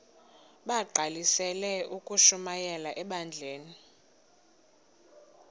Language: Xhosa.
bagqalisele ukushumayela ebandleni